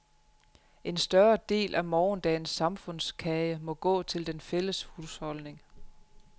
En større del af morgendagens samfundskage må gå til den fælles husholdning.